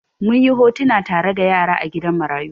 Mun yi hotuna tare da yara a gidan marayu.